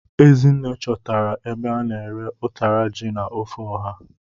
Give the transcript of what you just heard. Ezinne chọtara ebe a na-ere ụtara ji na ofe ọha.